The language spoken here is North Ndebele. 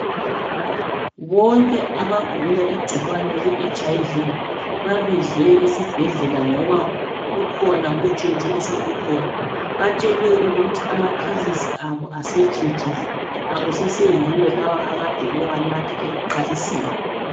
Bonke abagula igcikwane leHIV babizwe esibhedlela ngoba kukhona utshintsho osolukhona. Batshelwe ukuthi amaphilisi abo asetshintshile akuseseyiwo lawo akade bewanatha ekuqaliseni.